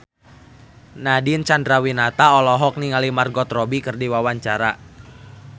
Nadine Chandrawinata olohok ningali Margot Robbie keur diwawancara